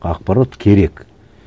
ақпарат керек